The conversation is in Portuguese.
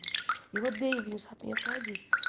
E eu odeio vinho chapinha por causa disso.